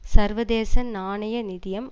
சர்வதேச நாணய நிதியம்